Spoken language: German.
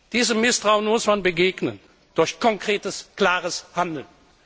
Diesem Misstrauen muss man begegnen durch konkretes, klares Handeln.